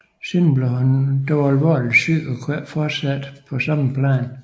Senere blev han dog alvorligt syg og kunne derfor ikke fortsætte på samme plan